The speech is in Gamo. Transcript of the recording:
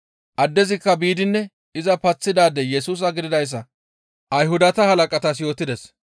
Addezikka biidinne iza paththiday Yesusa gididayssa Ayhudata halaqatas yootides.